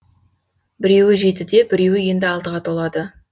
біреуі жетіде біреуі енді алтыға толады